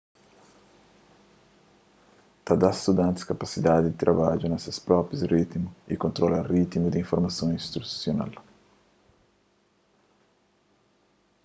ta dá studantis kapasidadi di trabadja na ses própi ritimu y kontrola ritimu di informason instrusional